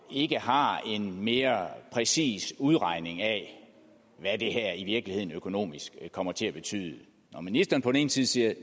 ikke har en mere præcis udregning af hvad det her i virkeligheden økonomisk kommer til at betyde når ministeren på den ene side siger at